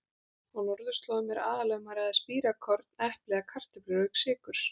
Á norðurslóðum er aðallega um að ræða spírað korn, epli eða kartöflur auk sykurs.